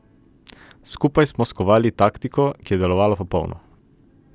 Skupaj smo skovali taktiko, ki je delovala popolno.